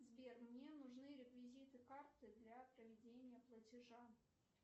сбер мне нужны реквизиты карты для проведения платежа